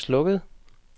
slukket